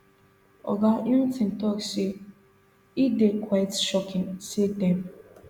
oga houghton tok say e dey quite shocking say dem